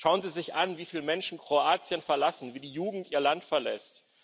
Schauen Sie sich an, wie viele Menschen Kroatien verlassen, wie die Jugend Ihr Land verlässt.